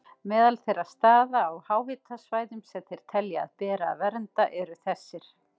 Meðal þeirra staða á háhitasvæðum sem þeir telja að beri að vernda eru þessir